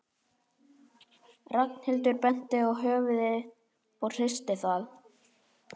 Ragnhildur benti á höfuðið og hristi það.